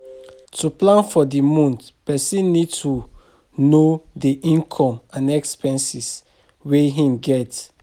To plan for di month person need to know di income and expenses wey im dey get